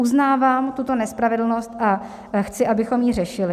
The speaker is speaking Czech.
Uznávám tuto nespravedlnost a chci, abychom ji řešili.